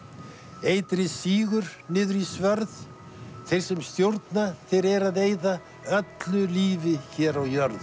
eitrið sígur niður í svörð þeir sem stjórna þeir eru að eyða öllu lífi hér á jörð